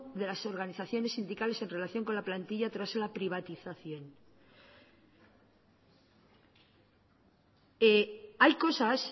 de las organizaciones sindicales en relación con la plantilla tras la privatización hay cosas